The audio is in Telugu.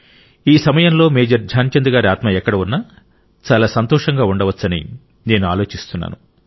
ఈ సమయంలో మేజర్ ధ్యాన్ చంద్ గారి ఆత్మ ఎక్కడ ఉన్నా చాలా సంతోషంగా ఉండవచ్చని నేను ఆలోచిస్తున్నాను